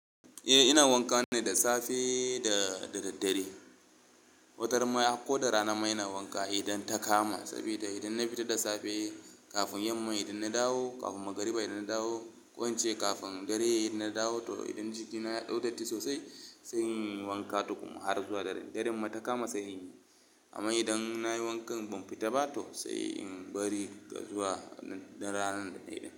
Eh ina wanka ne da safe da daraddare. Wataran ma ai ko da rana ma ina wanka idan ta kama saboda idan na fita da safe kafin yamma idan na dawo, kafin magriba idan na dawo ko ince kafin dare idan na dawo to idan jikina ya dau datti sosai sai in yi wanka tukun, har zuwa dare. Daren ma ta kama sai in yi, amma idan na yi wankan ban fita ba to sai in bari zuwa ranar nan.